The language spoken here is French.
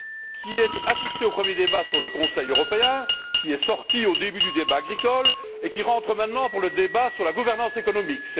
qui a assisté au premier débat sur le Conseil européen, qui est sortie au début du débat agricole, et qui rentre maintenant pour le débat sur la gouvernance économique.